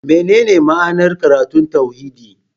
Menene ma'anar karatun tauhidi?